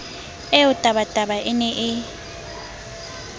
eo tabataba e ne e